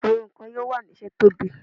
Awọn ọkọ yoo wa ni ṣe tobi